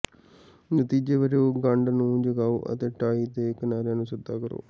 ਨਤੀਜੇ ਵਜੋਂ ਗੰਢ ਨੂੰ ਜਗਾਓ ਅਤੇ ਟਾਈ ਦੇ ਕਿਨਾਰਿਆਂ ਨੂੰ ਸਿੱਧਾ ਕਰੋ